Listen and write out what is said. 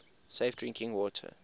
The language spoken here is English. safe drinking water